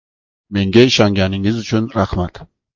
Menga ishonganingiz uchun rahmat.